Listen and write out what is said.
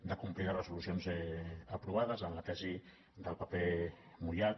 de complir les resolucions aprovades en la tesi del paper mullat